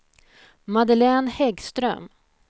Madeleine Häggström